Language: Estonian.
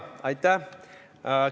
Aitäh!